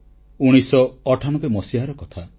1998 ମସିହାର କଥା